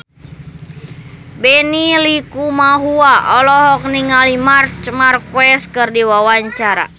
Benny Likumahua olohok ningali Marc Marquez keur diwawancara